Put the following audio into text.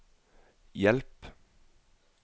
hjelp